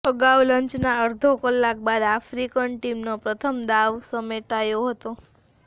અગાઉ લંચના અડધો કલાક બાદ આફ્રિકન ટીમનો પ્રથમ દાવ સમેટાયો હતો